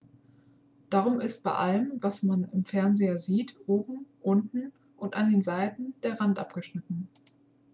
darum ist bei allem was man im fernseher sieht oben unten und an den seiten der rand abgeschnitten